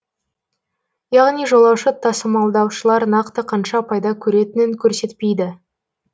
яғни жолаушы тасымалдаушылар нақты қанша пайда көретінін көрсетпейді